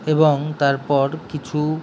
এবং তার পর কিছু --